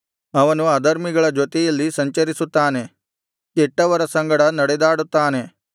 ಅವನು ಅಧರ್ಮಿಗಳ ಜೊತೆಯಲ್ಲಿ ಸಂಚರಿಸುತ್ತಾನೆ ಕೆಟ್ಟವರ ಸಂಗಡ ನಡೆದಾಡುತ್ತಾನೆ